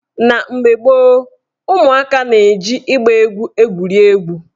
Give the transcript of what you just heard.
Na mgbe gboo, ụmụaka na-eji ịgba mgba egwuri egwu.